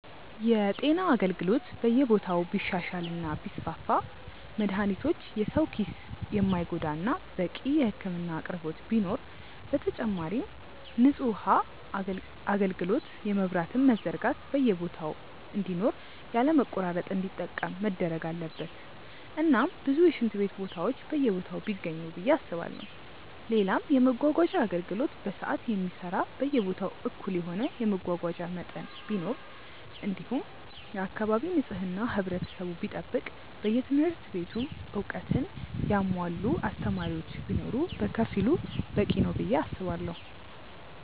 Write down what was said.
የጤና አገልግሎት በየቦታው ቢሻሻል እና ቢስፋፋ መድሃኒቶች የሰው ኪስ የማይጎዳ እናም በቂ የህክምና አቅርቦት ቢኖር፣ በተጨማሪም ንጹህ ውሃ አጋልግሎት የመብራትም መዘርጋት በየቦታ እንዲኖር ያለ መቆራረጥ እንዲጠቀም መደረግ አለበት እናም ብዙ የሽንት ቤት ቦታዎች በየቦታው ቢገኙ ብዬ አስባለው፣ ሌላም የመመጓጓዣ አገልግሎት በሰዓት የሚሰራ በየቦታው እኩል የሆነ የመጓጓዣ መጠን ቢኖር እንዲሁም የአካባቢ ንጽህና ህብረተሰቡ ቢጠብቅ በየትምህርት ቤቱም እውቀትን ያሙዋላ አስተማሪዎች ቢኖር በከፊሉ በቂ ነው ብዬ አስባለው።